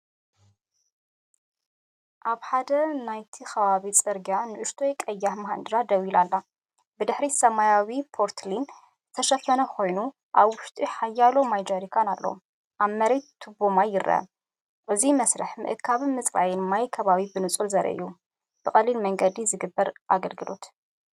ኣብ ሓደ ናይቲ ከባቢ ጽርግያ ንእሽቶ ቀያሕ ማሃንድራ ደው ኢላ ኣላ። ብድሕሪት ብሰማያዊ ተርፖሊን ዝተሸፈነ ኮይኑ ኣብ ውሽጡ ሓያሎማይ ጃሪካን ኣለዎ። ኣብ መሬት ቱቦማይ ይርአ። እዚ መስርሕ ምእካብን ምጽራይን ማይ ከባቢ ብንጹር ዘርኢ እዩ፤ ብቐሊል መንገዲ ዝግበር ኣገልግሎት።